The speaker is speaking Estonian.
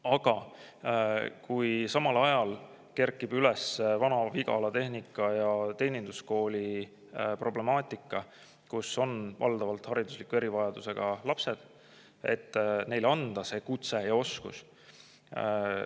Aga samal ajal kerkib üles Vana-Vigala Tehnika- ja Teeninduskooli problemaatika, kus on valdavalt haridusliku erivajadusega lapsed, et neile anda kutse ja oskused.